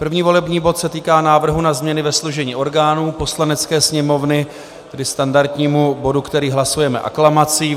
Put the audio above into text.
První volební bod se týká návrhu na změny ve složení orgánů Poslanecké sněmovny, tedy standardního bodu, který hlasujeme aklamací.